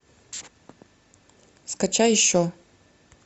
скачай еще